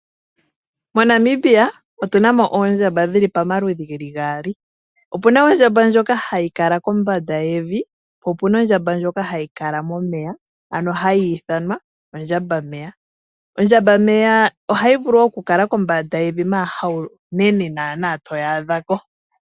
MoNamibia otu na mo oondjamba dhi li pamaludhi ge li gaali. Otu na ondjamba ndjoka i kala kombanda yevi po opu na ondjamba ndjoka hayi kala momeya, ano hayi ithanwa ondjambameya. Ondjambameya iohayi vulu okukala kombanda yomeya, ashike haunene naanaa to yi adha ko.